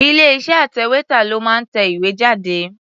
Ilé-iṣẹ́ atẹ̀wétà ló máa ń tẹ ìwé jáde.